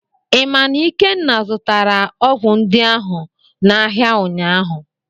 Ị ma na Ikenna zụtara ọgwụ ndị ahụ n'ahịa ụnyaahụ?